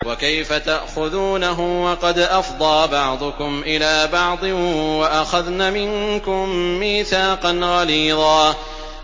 وَكَيْفَ تَأْخُذُونَهُ وَقَدْ أَفْضَىٰ بَعْضُكُمْ إِلَىٰ بَعْضٍ وَأَخَذْنَ مِنكُم مِّيثَاقًا غَلِيظًا